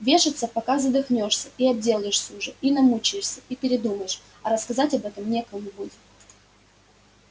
вешаться пока задохнёшься и обделаешься уже и намучаешься и передумаешь а рассказать об этом некому будет